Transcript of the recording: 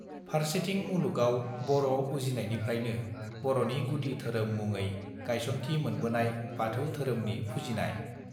फार्सेथिं मुलुगाव बर उजिनायनिफ्रायनो बरनि गुदि धोरोम मुङै गायसनथि मोनबोनाय बाथौ धोरोमनि फुजिनाय